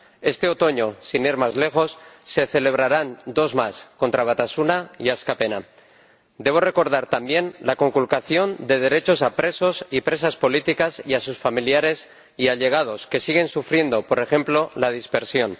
Este otoño, sin ir más lejos, se celebrarán dos más, contra Batasuna y Askapena. Debo recordar también la conculcación de derechos a presos y presas políticos y a sus familiares y allegados, que siguen sufriendo, por ejemplo, la dispersión.